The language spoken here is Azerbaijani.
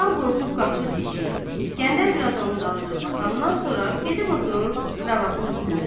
Cəlal qorxub qaçır eşiyə, İsgəndər biraz onun dalınca baxandan sonra gedib oturur kravatın üstündə.